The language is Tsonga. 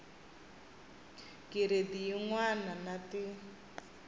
giredi yin wana na tin